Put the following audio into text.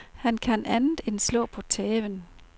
Han kan andet end slå på tæven.